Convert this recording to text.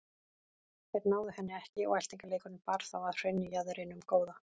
Þeir náðu henni ekki og eltingaleikurinn bar þá að hraunjaðrinum góða.